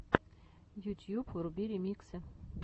ютьюб вруби ремиксы